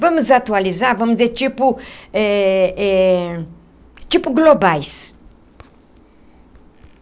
Vamos atualizar, vamos dizer tipo eh eh... tipo globais.